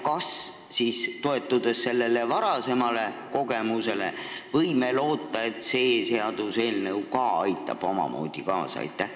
Kas siis, toetudes sellele varasemale kogemusele, võime loota, et see seaduseelnõu ka aitab omamoodi sellele kaasa?